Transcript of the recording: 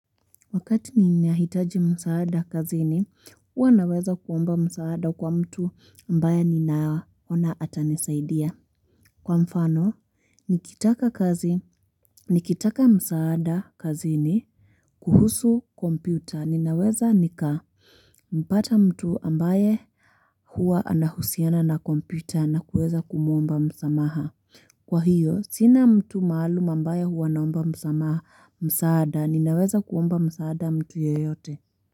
Wakati ni nahitaji msaada kazini, huwa naweza kuomba msaada kwa mtu ambaye ninaona atanisaidia. Kwa mfano, nikitaka kazi, nikitaka msaada kazini, kuhusu kompyuta, ninaweza nikampata mtu ambaye huwa anahusiana na kompyuta na kuweza kumwomba msamaha. Kwa hiyo, sina mtu maalum ambaye huwa naomba msamaha msaada, ninaweza kuomba msaada mtu yeyote.